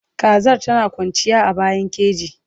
Kazar tana kwanci a bayan keji